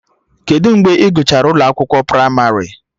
Kedụ mgbe Ị gụchara ụlọ akwụkwọ pramarị?